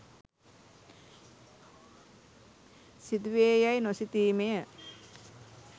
සිදු වේ යැයි නොසිතීම ය.